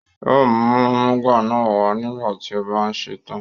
Yóò mú àmúga náà wá nígbà tí ó bá ṣe tán.